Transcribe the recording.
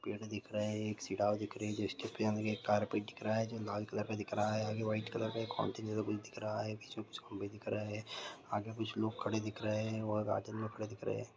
पेड़ दिख रहे है एक सीडआब दिख रहे है एक कारपेट दिख रहा है जो लाल कलर का दिख रहा हैआगे वाइट कलर बीच में कुछ खम्बे दिख रहे है आगे कुछ लोग खड़े दिख रहे है और दिख रहे है।